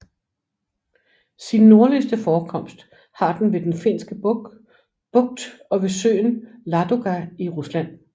Sin nordligste forekomst har den ved Den Finske Bugt og ved søen Ladoga i Rusland